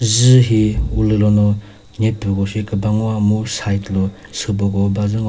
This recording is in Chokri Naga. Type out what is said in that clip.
dzü hi ulülono nyepüko shi küba ngoa mu side lo süboko bazü ngo--